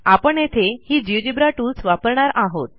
आपण येथे ही जिओजेब्रा टूल्स वापरणार आहोत